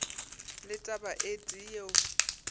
le taba e tee yeo